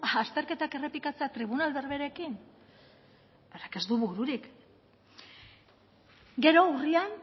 azterketak errepikatzea tribunal berberekin horrek ez du bururik gero urrian